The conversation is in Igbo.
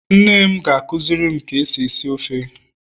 nnem akuzirim ka esi esi ofe